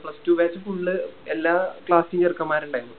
plus two batch full എല്ലാ Class ലെയും ചെറുക്കൻമ്മാരുണ്ടായിരുന്നു